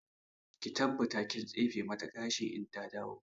Ki tabbata kin tsefe mata gashi in ta dawo!